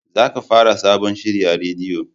Za ka fara sabon shiri a rediyo!